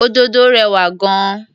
Òdòdó rẹwà gan-an.